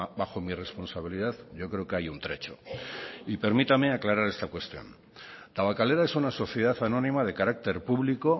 bajo mi responsabilidad yo creo que hay un trecho y permítame aclarar esta cuestión tabakalera es una sociedad anónima de carácter público